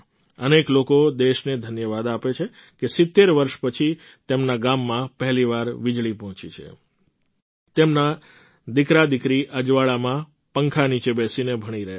અનેક લોકો દેશને ધન્યવાદ આપે છે કે ૭૦ વર્ષ પછી તેમના ગામમાં પહેલી વાર વીજળી પહોંચી છે તેમના દીકરાદીકરી અજવાળામાં પંખા નીચે બેસીને ભણી રહ્યાં છે